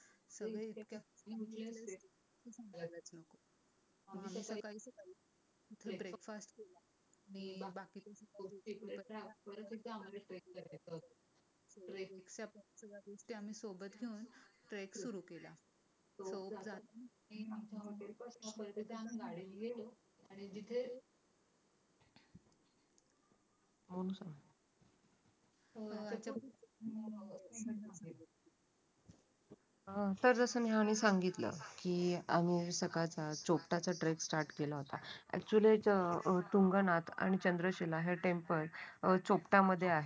तर तसं नेहानी सांगितलं की आम्ही सकाळचा चोपटाचा ट्रेक स्टार्ट केला होता ऍक्च्युली तुंगनाथ आणि चंद्रसेना हे टेम्पल चोपटा मध्ये आहे.